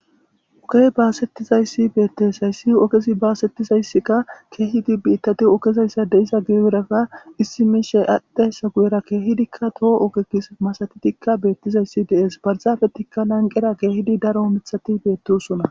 Oggey bassetizayssi bettes haysi ogezi bassetizayssika kehidi bitati oggezan deizayssa guyera issi mishshay adhdhidayssa guyera kehidika po'o masatidi betidaysi de'es barzapetika lanqera dess kehidi daro miththati bettosona.